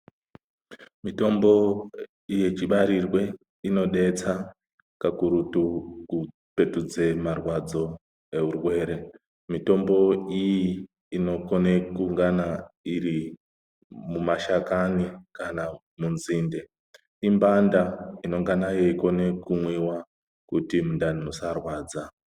Mitombo yechibarirwe inodetsa kakurutu kupetudze marwadzo eurwere. Mitombo iyi inokone kungana iri mumashakani kana munzinde. Imbanda inongana yeikone kumwiwa kuti mundani musarwadza.